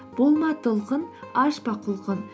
болма толқын ашпа құлқын